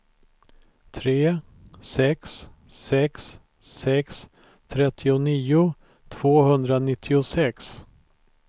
tre sex sex sex trettionio tvåhundranittiosex